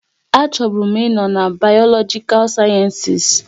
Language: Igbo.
A chọbụrụ m ị nọ n'Bayologikal sayensịs